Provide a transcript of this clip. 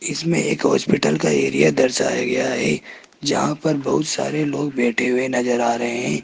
इसमें एक हॉस्पिटल का एरिया दर्शाया गया है जहां पर बहुत सारे लोग बैठे हुए नजर आ रहे हैं।